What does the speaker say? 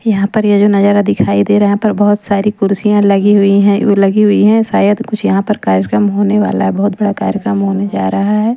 यहां पर ये जो नजारा दिखाई दे रहा है यहां पर बहोत सारी कुर्सियां लगी हुई है लगी हुई है शायद कुछ यहां पर कार्यक्रम होने वाला है बहोत बड़ा कार्यक्रम होने जा रहा है।